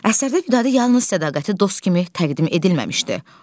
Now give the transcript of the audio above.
Əsərdə Vidadi yalnız sədaqəti dost kimi təqdim edilməmişdi.